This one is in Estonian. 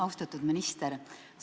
Austatud minister!